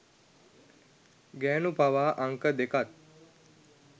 ගැනු පවා අංක දෙකත්